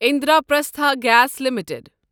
Indraprastha gas limited